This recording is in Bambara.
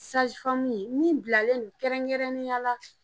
ye min bilalen don kɛrɛnkɛrɛnnenya la